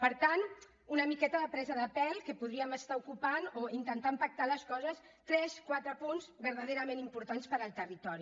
per tant una miqueta de presa de pèl que podríem estar ocupant o intentant pactar les coses tres quatre punts verdaderament importants per al territori